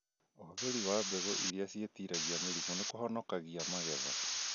ũhũthĩri wa mbegũ irĩa ciĩtiragia mĩrimũ nĩkũhonokagia magetha